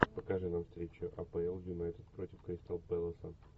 покажи нам встречу апл юнайтед против кристал пэласа